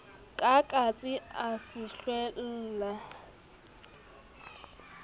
ka katse a se hlwella